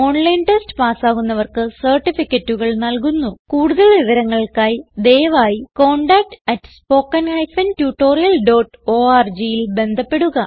online test പാസ്സാകുന്നവർക്ക് സർട്ടിഫികറ്റുകൾ നല്കുന്നുകുടുതൽ വിവരങ്ങൾക്കായി ദയവായി contactspoken tutorialorgൽ ബന്ധപ്പെടുക